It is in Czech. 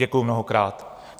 Děkuji mnohokrát.